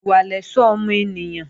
Ìwà lẹ̀ṣọ́ ọmọ ènìyàn